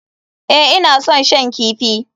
Ee, ina son shan kifi.